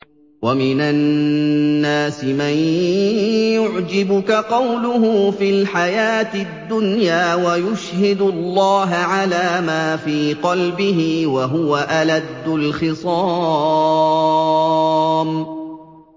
وَمِنَ النَّاسِ مَن يُعْجِبُكَ قَوْلُهُ فِي الْحَيَاةِ الدُّنْيَا وَيُشْهِدُ اللَّهَ عَلَىٰ مَا فِي قَلْبِهِ وَهُوَ أَلَدُّ الْخِصَامِ